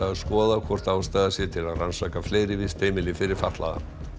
skoða hvort ástæða sé til að rannsaka fleiri vistheimili fyrir fatlaða